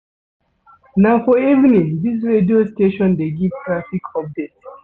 Na for evening dis radio station dey give traffic update.